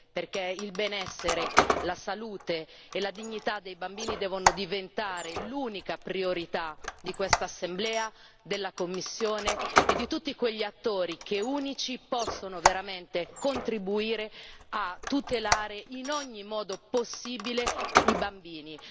perché il benessere, la salute e la dignità dei bambini devono diventare l'unica priorità di quest'Assemblea, della Commissione e di tutti quegli attori che, unici, possono veramente contribuire a tutelare, in ogni modo possibile, i bambini.